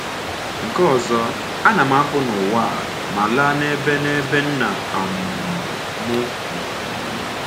Nke ọzọ, ana m apụ n’ụwa a ma laa n’ebe n’ebe Nna um m nọ.